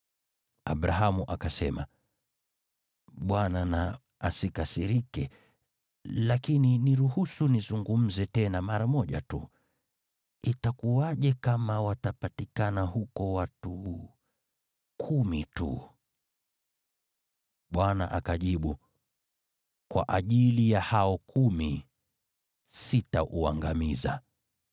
Abrahamu akasema, “Bwana na asikasirike, lakini niruhusu nizungumze tena mara moja tu. Itakuwaje kama watapatikana huko watu kumi tu?” Bwana akajibu, “Kwa ajili ya hao kumi, sitauangamiza.”